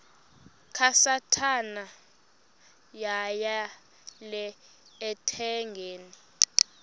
kasathana yeyele ethangeni